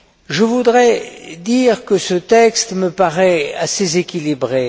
Je voudrais dire que ce texte me paraît assez équilibré.